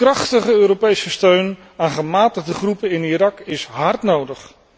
Krachtige Europese steun aan gematigde groepen in Irak is hard nodig.